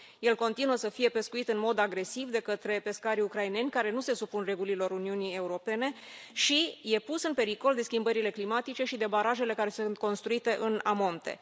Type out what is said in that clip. El continuă să fie pescuit în mod agresiv de către pescarii ucraineni care nu se supun regulilor Uniunii Europene și e pus în pericol de schimbările climatice și de barajele care sunt construite în amonte.